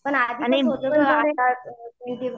पण आधी